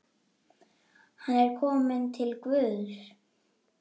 Hann er kominn til Guðs.